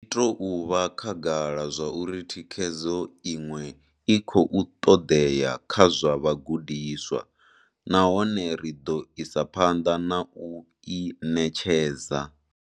Zwi tou vha khagala zwauri thikhedzo iṅwe i khou ṱoḓea kha zwa vhagudiswa nahone ri ḓo isa phanḓa na u i ṋetshedza.